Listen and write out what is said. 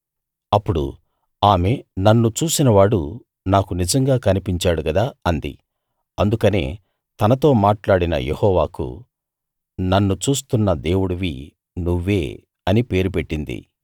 అప్పుడు ఆమె నన్ను చూసినవాడు నాకు నిజంగా కనిపించాడు కదా అంది అందుకనే తనతో మాట్లాడిన యెహోవాకు నన్ను చూస్తున్న దేవుడివి నువ్వే అనే పేరు పెట్టింది